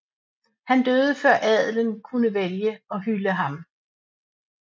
Han døde før adelen kunne vælge og hylde ham